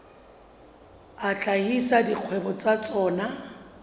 a hlahisa dikgwebo tsa tsona